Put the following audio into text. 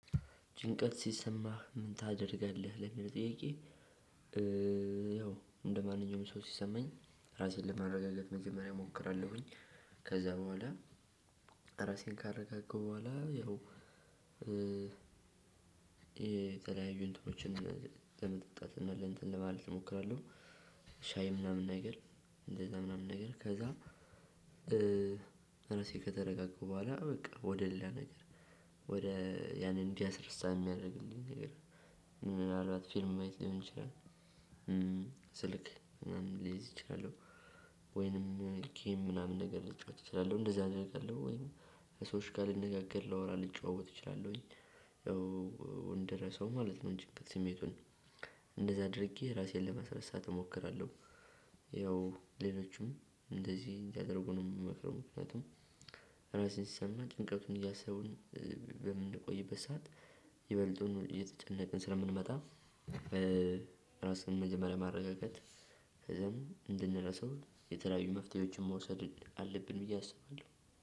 ጭንቀት ሲሰማህ ምን ታደርጋለህ ለሚለው ጥያቄ? ያው እንደማንኛውም ሰው ሲሰማኝ ራሴን ለማረጋጋት መጀመሪያ እሞክራለሁኝ። ከዛ በኋላ ራሴን ካረጋገገሁ በኋላ ያው። የተለያዩን እንትኖችን ለመጠጣት እና እንትን ማለት እሞክራለሁ። ሻይ ምናምን ነገር እንደዛ ምናምን ነገር ከዛ። ከተረጋገሁ በኋላ በቃ ወደ ሌላ ነገር ወደ ያንን እንዲያስረሳ የሚያደርግልኝ ነገር ምናልባት ፊልም ማየት ሊሆን ይችላል። ስልክ ምናምን ሊይዝ ይችላል። ወይንም ጌም ምናምን ነገር ልጫወት እችላለሁ እንደዚህ አደርጋለሁ። ወይንም ከሰዎች ጋር ልነጋገር ላወራ ልጨዋወት እችላለሁኝ። ያው እንድረሰው ማለት ነው። ጭንቀት ስሜቱን እንደዛ አድርጌ ራሴን ለመሰረት ሰዓት እሞክራለሁ። ያው ሌሎችም እንደዚህ እንዲያደርጉ ነው የምመክረው። ምክንያቱም ራሴን ስሰማ ጭንቀቱን እያሰብን በምንቆይበት ሰዓት ይበልጡን እየተጨነቅን ስለምንመጣ። ራስን መጀመሪያ ማረጋጋት ከዛም እንድንረሳው የተለያዩ መፍትሄዎችን መውሰድ አለብን ብዬ አስባለሁ።